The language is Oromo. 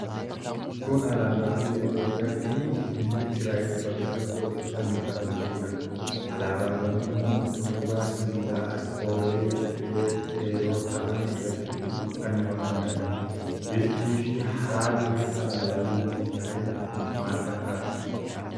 Kun alaabaa biyya Itoophiyaa fi biyya Israa'eel bakka tokkotti fannifamee jiruudha. Alaabawwan kunniin utubaa sibiilaa as olee dhedheeroo ta'an irratti fannifamanii argamu. Biftii fi haalli alaabaa biyya Israa'eel maal fakkaata?